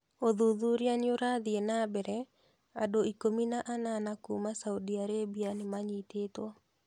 ũthuthuria no ũrathiĩ na mbere, andũ ikũmi na anana kuma Saudi Arabia nĩmanyitĩtwo.